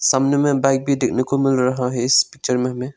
सामने में बाइक भी देखने को मिल रहा है इस पिक्चर में हमें।